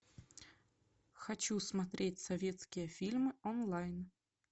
хочу смотреть советские фильмы онлайн